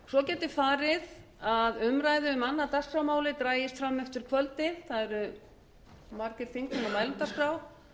svo getur farið að umræða um annað dagskrármálið dragist fram eftir kvöldi það eru margir þingmenn á mælendaskrá